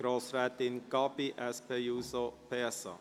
Zuerst hat Grossrätin Gabi Schönenberger das Wort.